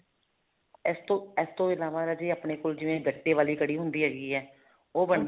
ਇਸ ਤੋਂ ਇਸ ਤੋਂ ਇਲਾਵਾ ਰਾਜੇ ਆਪਣੇ ਕੋਲ ਜਿਵੇਂ ਗੱਟੇ ਵਾਲੀ ਕੜੀ ਹੁੰਦੀ ਹੈਗੀ ਹੈ ਉਹ ਬਣਦੀ